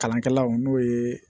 Kalankɛlaw n'o ye